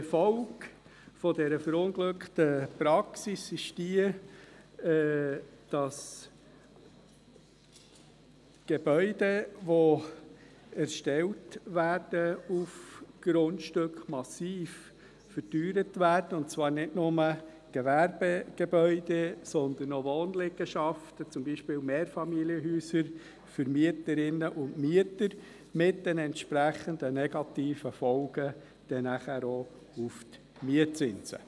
Die Folge dieser verunglückten Praxis ist, dass Gebäude, die auf Grundstücken erstellt werden, massiv verteuert werden – und zwar nicht nur Gewerbegebäude, sondern auch Wohnliegenschaften, zum Beispiel Mehrfamilienhäuser für Mieterinnen und Mieter, dann auch mit den entsprechend negativen Folgen bei den Mietzinsen.